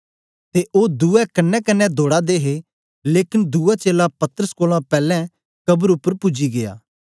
ते ओ दुए कन्नेकन्ने दौडा दे हे लेकन दुआ चेला पतरस कोलां पैलैं कब्र उपर पूजी गीया